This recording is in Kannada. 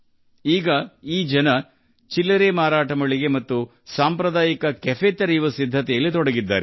ಈ ಜನರು ಈಗ ಚಿಲ್ಲರೆ ಮಾರಾಟ ಮಳಿಗೆ ಮತ್ತು ಸಾಂಪ್ರದಾಯಿಕ ಕೆಫೆ ತೆರೆಯಲು ತಯಾರಿ ನಡೆಸುತ್ತಿದ್ದಾರೆ